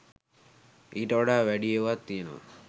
ඊට වඩා වැඩි ඒවත් තියනවා